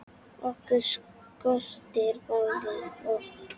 Okkur skortir báða orð.